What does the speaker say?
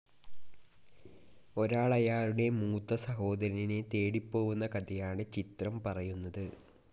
ഒരാൾ അയാളുടെ മൂത്ത സഹോദരനെ തേടി പോവുന്ന കഥയാണ് ചിത്രം പറയുന്നത്.